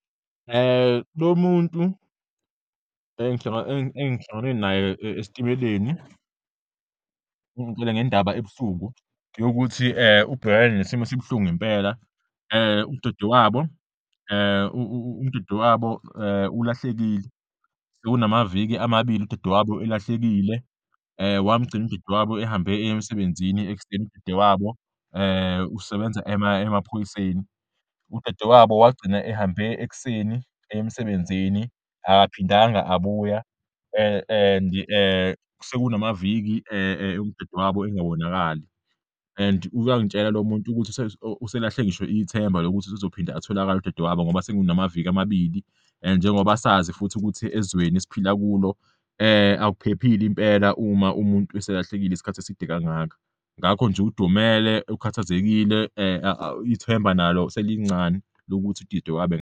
Lo muntu engihlangane naye esitimeleni ungitshele ngendaba ebuhlungu yokuthi ubhekane nesimo esibuhlungu ngempela, udadewabo ulahlekile, sekunamaviki amabili udadewabo elahlekile, wamugcina udadewabo ehamba eya emsebenzini ekuseni. Udadewabo usebenza emaphoyiseni, udadewabo wagcina ehambe ekuseni eya emsebenzini, akaphindanga abuya and-i sekunamaviki udadewabo engabonakali and uyangitshela lo muntu ukuthi uselahle ngisho ithemba lokuthi usezophinda atholakale udadewabo ngoba sekunamaviki amabili, njengoba sazi futhi ukuthi ezweni esiphila kulo akuphephile impela uma umuntu eselahlekile isikhathi eside kangaka, ngakho nje udumele, ukhathazekile, ithemba nalo selincane lokuthi udidewabo .